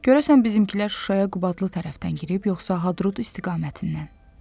Görəsən bizimkilər Şuşaya Qubadlı tərəfdən girib, yoxsa Hadrut istiqamətindən?